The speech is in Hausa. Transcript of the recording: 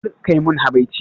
Kar kai mun habaici